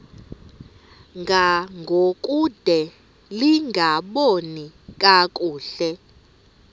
ngangokude lingaboni kakuhle